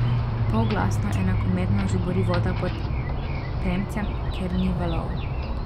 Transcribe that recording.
Polglasno enakomerno žubori voda pod premcem, ker ni valov.